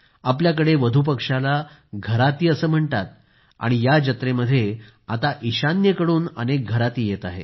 आपल्याकडे वधुपक्षाला घराती असे म्हणतात आणि या जत्रेमध्ये आता ईशान्येकडून अनेक घरातीही येत आहेत